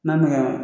N'a mɛn na